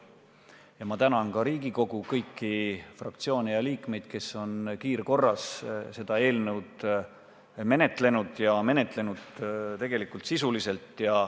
Ja ma tänan ka Riigikogu kõiki fraktsioone ja liikmeid, kes on kiirkorras seda eelnõu menetlenud, ja menetlenud tõesti sisuliselt.